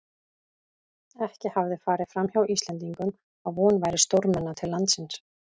Ekki hafði farið framhjá Íslendingum, að von væri stórmenna til landsins.